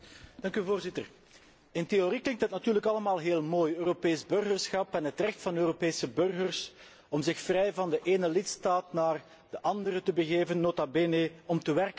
Voorzitter, in theorie klinkt dat natuurlijk allemaal heel mooi Europees burgerschap en het recht van de Europese burgers om zich vrij van de ene lidstaat naar de andere te begeven, nota bene om te werken.